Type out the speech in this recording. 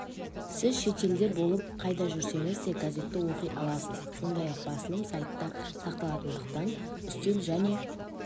сіз шетелде болып қайда жүрсеңіз де газетті оқи аласыз сондай-ақ басылым сайтта сақталатындықтан үстел және